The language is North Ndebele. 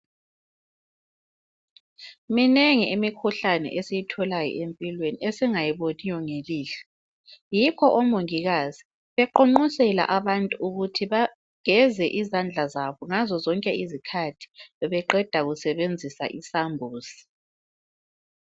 Minengi imikhuhlane esiyitholayo empilweni esingayiboniyo ngelihlo yikho omongikazi beqonqosela ukut abantu ukut bageze izandla zabo ngazo zonke izikhathi beqeda kusebenzisa isambuzi